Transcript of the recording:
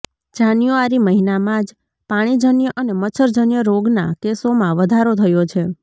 જાન્યુઆરી મહિનામાં જ પાણીજન્ય અને મચ્છરજન્ય રોગના કેસોમાં વધારો થયો છે